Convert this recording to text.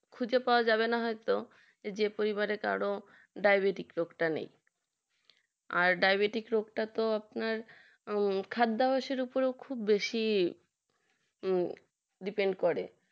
খুঁজে পাওয়া যাবে না হয়তো যে পরিবারে কারো ডায়াবেটিস রোগটা নেই আর ডায়াবেটিস রোগটা তো আপনার খাদ্যাভ্যাসের উপর বেশি depend করে